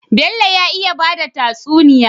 Bello ya iya bada tatsuniya